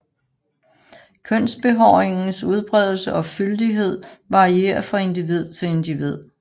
Kønsbehåringens udbredelse og fyldighed varierer fra individ til individ